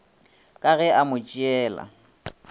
ka ge a mo tšeela